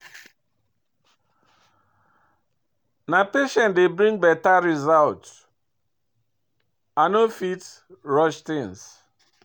Na patient dey bring better result, I no fit rush things.